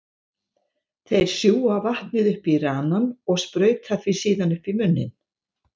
Þeir sjúga vatnið upp í ranann og sprauta því síðan upp í munninn.